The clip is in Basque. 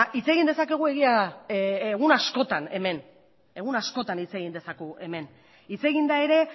hitz egin dezakegu egia da egun askotan hemen egun askotan hitz egin dezakegu hemen hitz egin da ere